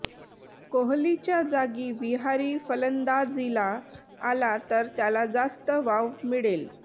कोहलीच्या जागी विहारी फलंदाजीला आला तर त्याला जास्त वाव मिळेल